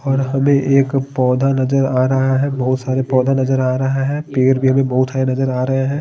और हमे एक पौधा नज़र आ रहा है बहुत सारे पौधा नज़र आ रहा है पेड़ भी हमें बहुत है नज़र आ रहे हैं।